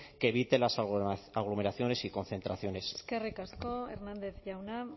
que evite las aglomeraciones y concentraciones eskerrik asko hernández jauna